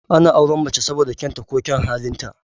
Ana auren mace saboda kyaun ta ko kyaun halin ta